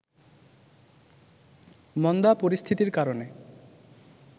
মন্দা পরিস্থিতির কারণে